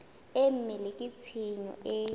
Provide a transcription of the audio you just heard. e mele ke tshenyo e